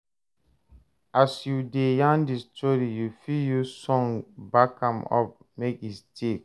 As you de yarn di story you fit use song back am up make e stick